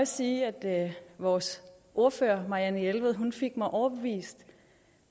sige at vores ordfører marianne jelved fik mig overbevist